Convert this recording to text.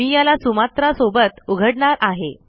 मी याला सुमात्रा सोबत उघडणार आहे